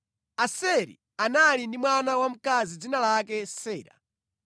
(Aseri anali ndi mwana wamkazi dzina lake Sera)